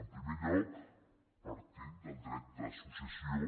en primer lloc partint del dret d’associació